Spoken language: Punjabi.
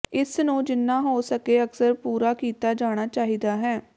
ਇਸ ਨੂੰ ਜਿੰਨਾ ਹੋ ਸਕੇ ਅਕਸਰ ਪੂਰਾ ਕੀਤਾ ਜਾਣਾ ਚਾਹੀਦਾ ਹੈ